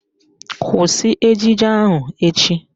Kwụsị ejije ahụ echi!